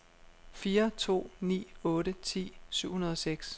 fire to ni otte ti syv hundrede og seks